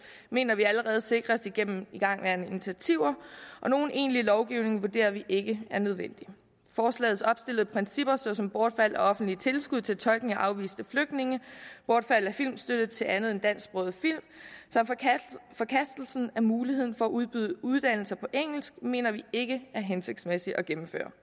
mener vi allerede sikres igennem igangværende initiativer og nogen egentlig lovgivning vurderer vi ikke er nødvendig forslagets opstillede principper såsom bortfald af offentlige tilskud til tolkning af afviste flygtninge bortfald af filmstøtte til andet end dansksprogede film forkastelse af muligheden for at udbyde uddannelser på engelsk mener vi ikke er hensigtsmæssige at gennemføre